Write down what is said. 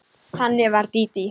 Þannig var Dídí.